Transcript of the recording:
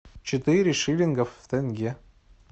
четыре шиллинга в тенге